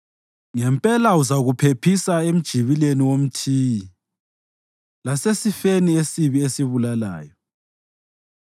Ngempela uzakuphephisa emjibileni womthiyi lasesifeni esibi esibulalayo.